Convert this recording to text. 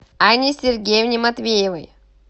анне сергеевне матвеевой